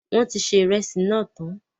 Wọn tí ṣe ìrẹsì náà tán